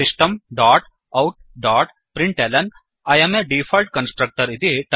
system dot out dot println I um a default constructor